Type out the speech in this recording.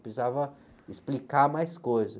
Precisava explicar mais coisas.